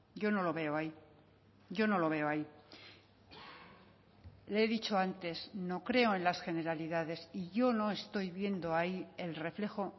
yo no lo veo ahí yo no lo veo ahí le he dicho antes no creo en las generalidades y yo no estoy viendo ahí el reflejo